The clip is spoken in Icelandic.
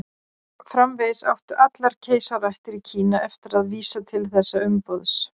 Framvegis áttu allar keisaraættir í Kína eftir að vísa til þessa umboðs.